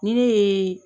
Ni ne ye